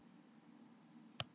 HANN ELSKAÐI HEITT SÚKKULAÐI!